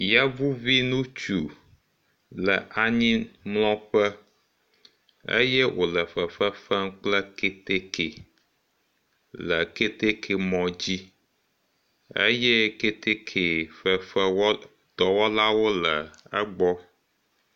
Yevuvi ŋutsu le anyimlɔƒe eye wole fefefem kple keteke le keteke mɔ dzi eye keteke fefewɔ dɔwɔlawo le egbɔ.